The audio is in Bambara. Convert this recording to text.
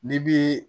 N'i bi